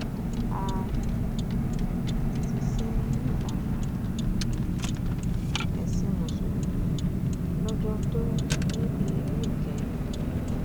a um ti sìn ín ní ìlànà um ẹsìn mùsùlùmí lọjọ tó mí èémí ìkẹyìn yìí